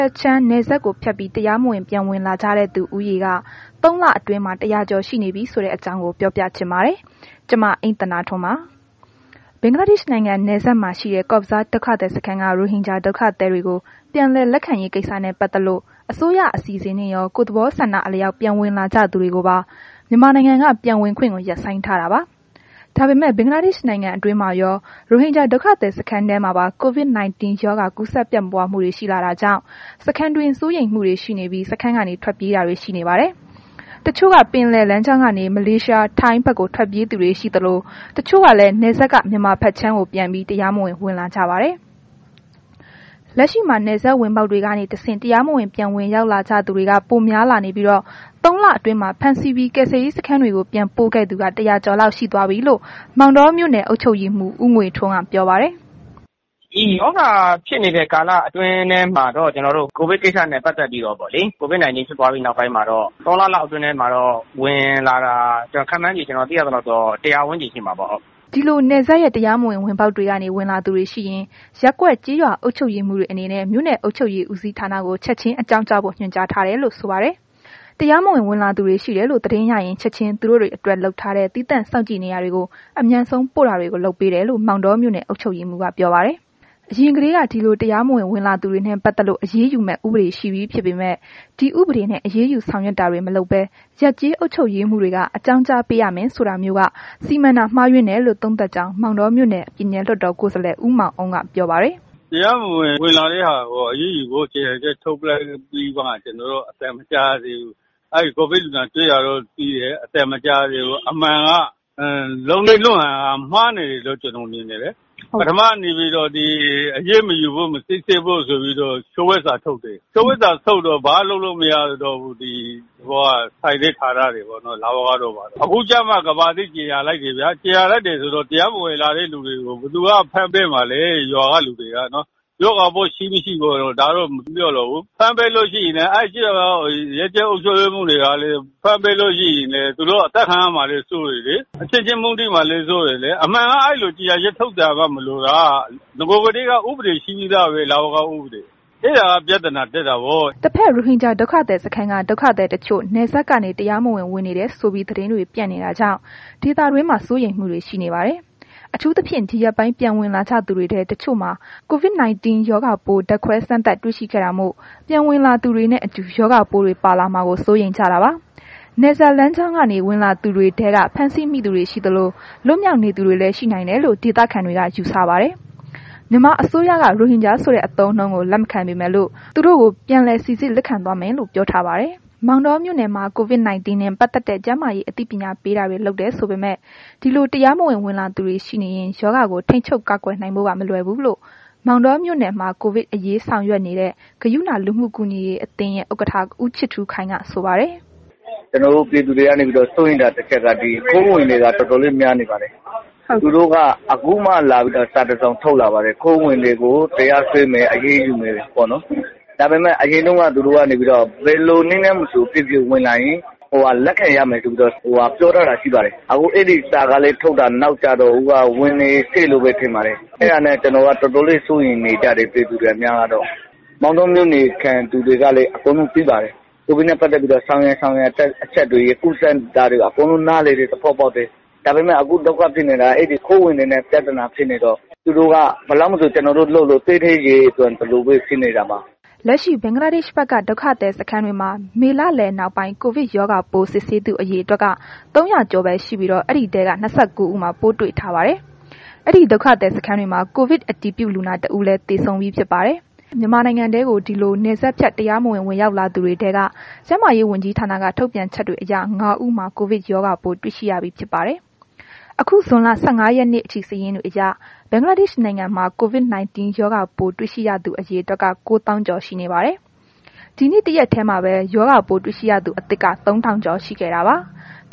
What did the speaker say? က်ခြမ်းနယ်စပ်ဖြတ်ပြီး တရားမဝင် ပြန်ဝင်လာကြတဲ့သူဦးရေ ၃ လ အတွင်းမှာ ၁၀၀ ကျော်ရှိနေပြီဆိုတဲ့ အကြောင်းကို ဗွီအိုအေမြန်မာပိုင်းသတင်းထောက် မအိမ့်သန္တာထွန်းက ပြောပြပေးပါမယ်။ ဘင်္ဂလားဒေ့ရှ်နိုင်ငံနယ်စပ်မှာ ရှိတဲ့ Cox's Bazar ဒုက္ခသည်စခန်းက ရိုဟင်ဂျာ ဒုက္ခသည်တွေကို ပြန်လည်လက်ခံရေးကိစ္စနဲ့ ပတ်သက်လို့ အစိုးရအစီအစဉ်နဲ့ရော၊ ကိုယ့်သဘောဆန္ဒအလျောက် ပြန်ဝင်လာကြသူတွေကိုပါ မြန်မာနိုင်ငံက ပြန်ဝင်ခွင့်ကို ရပ်ဆိုင်းထားတာပါ။ ဒါပေမဲ့လည်း ဘင်္ဂလားဒေ့ရ်ှနိုင်ငံတွင်းမှာရော ရိုဟင်ဂျာဒုက္ခသည်စခန်းထဲမှာပါ COVID-19 ရောဂါကူးစက်ပြန့်ပွားမှုတွေ ရှိလာတာကြောင့် စခန်းတွင်း စိုးရိမ်မှုတွေရှိပြီး စခန်းကနေ ထွက်ပြေးတာတွေ ရှိနေပါတယ်။ တချို့က ပင်လယ်လမ်းကြောင်းကနေ မလေးရှား၊ ထိုင်းဘက်ကို ပြေးသူရှိသလို၊ တချို့ကလည်း နယ်စပ်က မြန်မာဘက်ခြမ်း ပြန်ခိုးဝင်ကြပါတယ်။ လက်ရှိမှာ နယ်စပ်ဝင်ပေါက်တွေကနေတဆင့် တရားမဝင် ပြန်လည်ဝင်ရောက်လာကြသူတွေက ပိုများလာနေပြီးတော့၊ ၃ လအတွင်းမှာ ဖမ်းဆီးပြီး ကယ်ဆယ်ရေးစခန်းကို ပြန်ပို့ခဲ့သူ ၁၀၀ ကျော်လောက်ရှိသွားပြီလို့ မောင်တောမြို့နယ် အုပ်ချုပ်ရေးမှူး ဦးငွေထွန်းက ပြောပါတယ်။ “ဒီရောဂါဖြစ်နေတဲ့ ကာလအတွင်းထဲမှာတော့ ဒီ ကိုဗစ်ကိစ္စနဲ့ ပတ်သက်ပြီးတော့ပေါ့လေ COVID - 19 ဖြစ်ပွားပြီးနောက်ပိုင်းမှာတော့ ဒီ ၃ လလောက်အတွင်းထဲမှာ ဝင်လာတာ ကျနော် ခန့်မှန်းခြေ သိရသလောက်တော့ ၁၀၀ ဝန်းကျင်ရှိမှာပေါ့။” ဒီလို နယ်စပ်ရဲ့ တရားမဝင် ဝင်ပေါက်တွေကနေ ဝင်လာသူတွေရှိရင် ရပ်ကွက် ကျေးရွာအုပ်ချုပ်ရေးမှူးတွေအနေနဲ့ မြို့နယ်အုပ်ချုပ်ရေးဦးစီးဌာနကို ချက်ချင်း အကြောင်းကြားဖို့ ညွှန်ကြားထားတယ်လို့ ဆိုပါတယ်။ တရားမဝင် ဝင်လာသူတွေရှိတယ်လို့ သတင်းရရင် ချက်ချင်း သူတို့တွေအတွက် လုပ်ထားတဲ့ သီးသန့်စောင့်ကြည့်နေရာတွေကို အမြန်ဆုံးပို့တာတွေကို လုပ်ပေးတယ်လို့ မောင်တောမြို့နယ် အုပ်ချုပ်ရေးမှူးက ပြောပါတယ်။ အရင်ကတည်းက ဒီလို တရားမဝင်ဝင်လာသူတွေနဲ့ ပတ်သက်လို့ အရေးယူမယ့် ဥပဒေရှိပြီးဖြစ်ပေမဲ့ ဒီဥပဒေနဲ့ အရေးယူဆောင်ရွက်တာတွေ မလုပ်ဘဲ ရပ်ကျေး အုပ်ချုပ်ရေးမှူးတွေက အကြောင်းကြားပေးရမယ်ဆိုတာမျိုး ဒီစီမံမှုက မှားယွင်းတယ်လို့ သုံးသပ်ကြောင်း မောင်တောမြို့နယ် ပြည်နယ်လွှတ်တော်ကိုယ်စားလှယ် ဦးမောင်အုန်းက ပြောပါတယ်။ “တရားမဝင်ဝင်လာတဲ့ သူတွေကို အရေးယူဖို့ ကြေညာချက် ထုတ်လိုက်ပြီးတော့မှ ကျနော်တို့ ဘာမှ မကြားရသေးဘူး။ ကိုဗစ်လူနာတွေ့တာတွေ ကြားပေမဲ့ အသံမကြားရသေးဘူး၊ အမှန်က လုပ်နည်းလုပ်ဟန်က မှားနေတယ်လို့ ကျနော် မြင်တယ်လေ။ ပထမက အရေးမယူဖို့ မစစ်ဆေးဖို့ဆိုပြီး လျှို့ဝှက်စာထုတ်တယ်၊ လျှို့ဝှက်စာထုတ်တော့ သက်ဆိုင်တဲ့ လဝကတို့ ဘာတို့က ဘာမှ လုပ်လို့မရတော့ဘူး။ အခုကျမှ ကမ္ဘာသိကြေညာလိုက်တယ်ဗျာ အဲ့လိုကြေညာလိုက်တော့ ဒီလို တရားမဝင် ဝင်လာသူတွေကို ဘယ်သူက ဖမ်းပေးမှာလဲ ရွာက လူတွေက။ ရောဂါပိုးရှိ၊ မရှိကတော့ ဒါတော့ မပြောလိုဘူး။ ဖမ်းပေးလို့ရှိရင်လည်း အဲ့ဒီက ရပ်ကျေး အုပ်ချုပ်ရေးမှူးတွေကလည်း ဖမ်းပေးလို့ရှိရင် သူတို့ အသတ်ခံရမှာလည်း စိုးတယ်လေ။ အချင်းချင်းမုန်းတီးမှာလည်း စိုးတယ်၊ အမှန်က အဲ့လို့ ကြေညာချက်ထုတ်စရာမှ မလိုတာ။ နဂိုကတည်းက ဥပဒေရှိပြီးသားပဲ လဝက ဥပဒေ၊ အဲ့ဒါက ပြဿနာတက်တာပေါ့။” တဘက် ရိုဟင်ဂျာဒုက္ခသည်စခန်းက ဒုက္ခသည်တချို့ နယ်စပ်ကနေ ခိုးဝင်နေတယ်ဆိုပြီး သတင်းတွေပြန့်ပြီး ဒေသတွင်းမှာတော့ စိုးရိမ်မှုတွေ ရှိနေပါတယ်။ အထူးသဖြင့် ဒီရက်ပိုင်း ပြန်ဝင်လာကြသူတွေထဲ တချို့မှာ COVID-19 ရောဂါပိုး ဓါတ်ခွဲစမ်းသပ်တွေ့ရှိခဲ့တာမို့ ပြန်ဝင်လာသူတွေနဲ့အတူ ရောဂါပိုးတွေ ပါလာမှာကို စိုးရိမ်ကြတာပါ။ နယ်စပ်လမ်းကြောင်းကနေ ဝင်လာတဲ့အထိ ဖမ်းဆီးမိသူ ရှိသလို၊ လွတ်မြောက်နေသူတွေလည်း ရှိနိုင်တယ်လို့ ဒေသခံတွေက ယူဆပါတယ်။ မောင်တောမြို့နယ်မှာ COVID - 19 နဲ့ ပတ်သက်တဲ့ ကျန်းမာရေး အသိပညာပေးတာတွေ လုပ်တယ်ဆိုပေမဲ့ ဒီလို တရားဝင်ဝင်လာသူတွေရှိနေရင် ရောဂါကို ထိန်းချုပ်ကာကွယ်နိုင်ဖို့က မလွယ်ဘူးလို့ မောင်တောမြို့နယ်မှာ ကိုဗစ်အရေး ဆောင်ရွက်နေတဲ့ ဂရုဏာ လူမှုကူညီရေးအသင်းရဲ့ ဥက္ကဋ္ဌ ဦးချစ်ထူးခိုင်က ဆိုပါတယ်။ “ကျနော်တို့ ပြည်သူတွေ စိုးရိမ်တာ တစ်ချက်က ဒီခိုးဝင်တွေက တော်တော်လေးများနေပါတယ်။ သူတို့က ခုမှ စာတစ်စောင်ထုတ်လာပါတယ်။ ခိုးဝင်တွေကို တရားစွဲမယ်၊ အရေးယူမယ်ပေါ့နော်။ ဒါပေမဲ့ သူတို့က အရင်တုန်းက ဘယ်လိုနည်းနဲ့မဆို ဝင်လာရင် လက်ခံရမယ်ဆိုပြီးတော့ ပြောထားတာ ရှိပါတယ်။ ခု အဲ့ဒီစာ ထုတ်တာကလည်း နောက်ကျတော့ ဝင်နေဆဲလို့ပဲ ထင်ပါတယ်။ အဲ့ဒါနဲ့ တော်တော်လေး စိုးရိမ်နေကြပါတယ် ပြည်သူတွအများကတော့။ မောင်တောမြို့နယ်ခံတွေကလည်း အကုန်လုံးသိပါတယ်။ ကိုဗစ်နဲ့ ပတ်သက်လို့ ဆောင်ရန်၊ ရှောင်ရန် အချက်တွေ၊ ကူးစက်တာတွေကို အကုန်လုံး နားလည်တယ်၊ သဘောပေါက်တယ်။ ဒါပေမဲ့ အခု ဒုက္ခဖြစ်နေတာက အဲ့ဒီခိုးဝင်တွေနဲ့ ပြဿနာဖြစ်နေတော့ ကျနော်တို့ ဘယ်လောက်လုပ်လုပ် သဲထဲရေသွန်သလိုပဲ ဖြစ်နေတာပါ။” လက်ရှိ ဘင်္ဂလားဒေ့ရှ်ဘက်က ဒုက္ခသည်စခန်းတွေမှာ မေလလယ်နောက်ပိုင်း ကိုဗစ်ရောဂါပိုး စစ်ဆေးသူ အရေအတွက်က ၃၀၀ ကျော်ပဲ ရှိပြီးတော့ အဲ့ဒီထဲက ၂၉ ဦးမှာ ပိုးတွေ့ထားပါတယ်။ အဲ့ဒီ ဒုက္ခသည် စခန်းတွေမှာ ကိုဗစ်အတည်ပြုလူနာ တစ်ဦးလည်း သေဆုံးပြီးဖြစ်ပါတယ်။ မြန်မာနိုင်ငံထဲကို ဒီလို နယ်စပ်ဖြတ်တရားမဝင် ဝင်ရောက်လာသူတွေထဲက ကျန်းမာရေးဝန်ကြီးဌာနက ထုတ်ပြန်ချက်တွေအရ ၅ ဦးမှာ ကိုဗစ်ရောဂါပိုး တွေ့ရှိရပြီးဖြစ်ပါတယ်။ အခု ဇွန်လ ၁၅ ရက်နေ့အထိ စာရင်းတွေအရ ဘင်္ဂလားဒေ့ရှ်နိုင်ငံမှာ COVID 19 ရောဂါပိုး တွေရှိရသူ အရေအတွက်က ၉၀,၀၀၀ ကျော် ရှိနေပါတယ်။ ဒီနေ့ တစ်ရက်ထဲမှာပဲ ရောဂါပိုးတွေ့ရှိရသူအသစ်က ၃,၀၀၀ ကျော် ရှိခဲ့တာပါ။